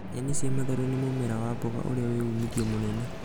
Nyeni cia matharũ nĩ mũmera wa mboga urĩa wĩ uumithio mũnene